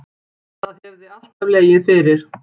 Það hefði alltaf legið fyrir